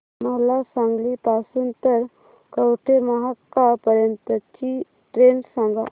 मला सांगली पासून तर कवठेमहांकाळ पर्यंत ची ट्रेन सांगा